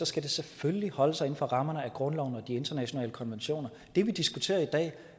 skal det selvfølgelig holde sig inden for rammerne af grundloven og de internationale konventioner det vi diskuterer i dag